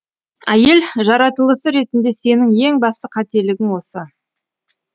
әйел жаратылысы ретінде сенің ең басты қателігің осы